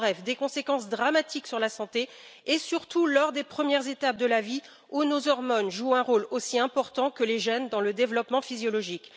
En bref des conséquences dramatiques sur la santé et surtout lors des premières étapes de la vie, où nos hormones jouent un rôle aussi important que les gènes dans le développement physiologique.